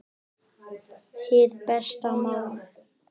Hið besta mál